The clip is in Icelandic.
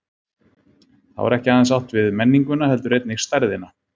Þá er ekki aðeins átt við menninguna heldur einnig stærðina.